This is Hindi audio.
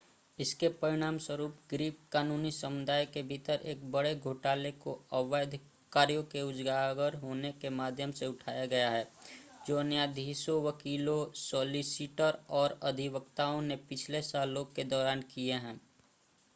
इसके परिणामस्वरूप ग्रीक कानूनी समुदाय के भीतर एक बड़े घोटाले को अवैध कार्यों के उजागर होने के माध्यम से उठाया गया है जो न्यायाधीशों वकीलों सॉलिसिटर और अधिवक्ताओं ने पिछले सालों के दौरान किए हैं